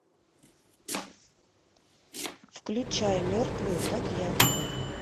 включай мертвые как я